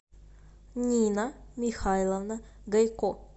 нина михайловна гайко